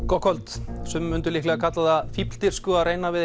gott kvöld sumir myndu kalla það fífldirfsku að reyna við